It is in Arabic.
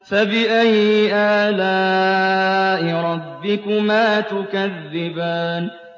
فَبِأَيِّ آلَاءِ رَبِّكُمَا تُكَذِّبَانِ